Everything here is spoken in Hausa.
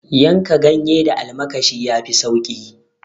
Yanka ganye da almakshi yafi sauki